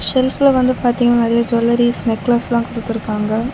ஷெல்ஃப்ல வந்து பாத்தீங்னா நெறைய ஜுவல்லரிஸ் நெக்லஸ்லா குடுத்துருக்காங்க.